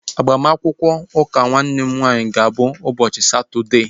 Agbamakwụkwọ ụka nwanne m nwaanyị ga-abụ ụbọchị Satọdee